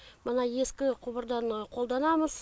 мына ескі құбырдан қолданамыз